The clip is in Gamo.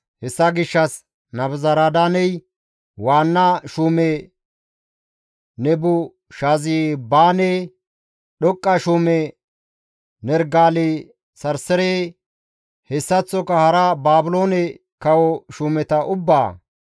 Hessa gishshas Nabuzaradaaney, waanna shuume Nebushazibaane, dhoqqa shuume Nerigale-Sarsare hessaththoka hara Baabiloone kawo shuumeta ubbaa,